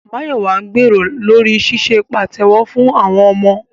Máyọ̀wà ń gbèrò lórí ṣíṣe pàtẹ́wọ́ fún àwọn ọmọ